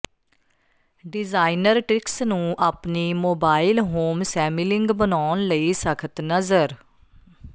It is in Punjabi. ਡਿਜ਼ਾਈਨਰ ਟ੍ਰਿਕਸ ਨੂੰ ਆਪਣੀ ਮੋਬਾਇਲ ਹੋਮ ਸੈਮੀਲਿੰਗ ਬਣਾਉਣ ਲਈ ਸਖ਼ਤ ਨਜ਼ਰ